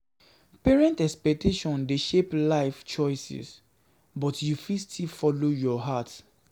Parent expectations dey shape life choices, but you fit still follow your heart.